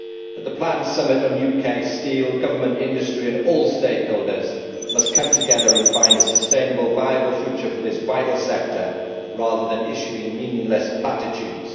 At the planned summit on UK steel, Government, industry and all stakeholders must come together and find a sustainable, viable future for this vital sector, rather than issuing meaningless platitudes.